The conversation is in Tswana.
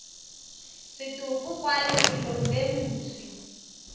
setopo kwa lefelong le moswi